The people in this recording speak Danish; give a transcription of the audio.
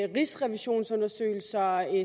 rigsrevisionsundersøgelser